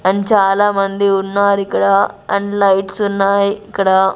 and చాలామంది ఉన్నారు ఇక్కడ అండ్ లైట్స్ ఉన్నాయి ఇక్కడ--